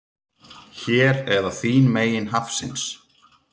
Hér eða þín megin hafsins.